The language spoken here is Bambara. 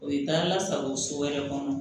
O ye taa la sago so wɛrɛ kɔnɔ